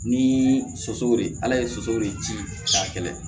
Ni sosow de ala ye soso de ci cɛ samiyɛ